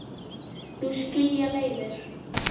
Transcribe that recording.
Nú skilja leiðir.